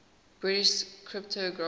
british cryptographers